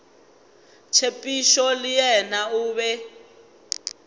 tshepišo le yena o be